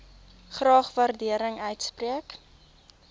graag waardering uitspreek